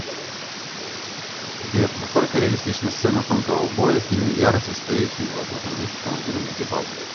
сбер насколько реалистична сцена танкового боя в фильме ярость со стоящими в открытом люке командирами экипажа